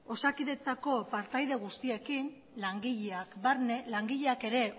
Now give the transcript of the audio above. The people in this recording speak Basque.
osakidetzako partaide guztiekin langileak barne langileak ere